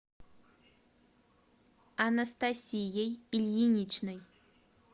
анастасией ильиничной